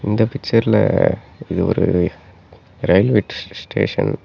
இந்த பிக்சர்ல இது ஒரு இரயில்வே ஸ்டேஷன் .